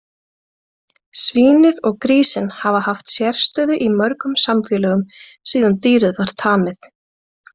Svínið og grísinn hafa haft sérstöðu í mörgum samfélögum síðan dýrið var tamið.